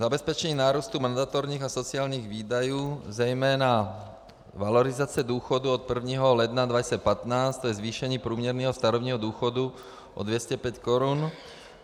Zabezpečení nárůstu mandatorních a sociálních výdajů, zejména valorizace důchodů od 1. ledna 2015, to je zvýšení průměrného starobního důchodu o 205 Kč.